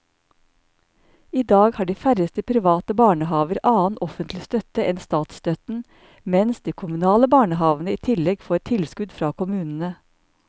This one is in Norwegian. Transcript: I dag har de færreste private barnehaver annen offentlig støtte enn statsstøtten, mens de kommunale barnehavene i tillegg får tilskudd fra kommunene.